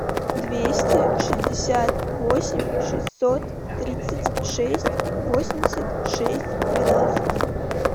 двести шестьдесят восемь шестьсот тридцать шесть восемьдесят шесть двенадцать